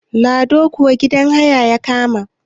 lado kuwa gidan haya ya kama